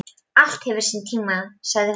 Allt hefur sinn tíma, sagði hún.